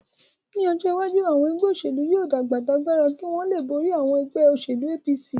Ní ọjọ́ iwájú, àwọn ẹgbẹ́ òṣèlú yóò dàgbà t'agbára kí wọ́n lè borí àwọn ẹgbẹ́ òṣèlú APC